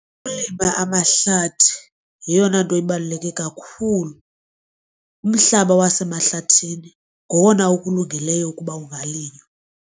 Ukulima amahlathi yeyona nto ibaluleke kakhulu, umhlaba wasemahlathini ngowona okulungeleyo ukuba ungalinywa.